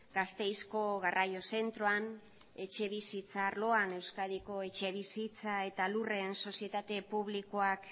gasteizko garraio zentroan etxebizitza arloan euskadiko etxebizitza eta lurren sozietate publikoak